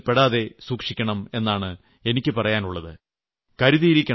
ഈ മോഹ വലയത്തിൽപ്പെടാതെ സൂക്ഷിക്കണം എന്നാണ് എനിക്ക് പറയാനുളളത്